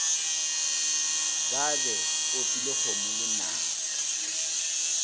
be ba opile kgomo lenaka